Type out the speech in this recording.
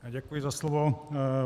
Děkuji za slovo.